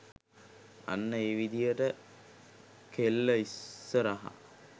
අන්න ඒ විදිහට කෙල්ල ඉස්‌සරහ